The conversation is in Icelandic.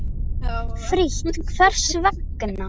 Frítt Hvers vegna?